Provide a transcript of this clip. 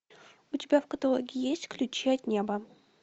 у тебя в каталоге есть ключи от неба